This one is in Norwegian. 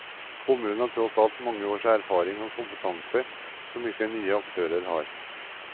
Kommunen har tross alt mange års erfaring og kompetanse som ikke nye aktører har.